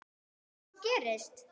Og hvað gerist?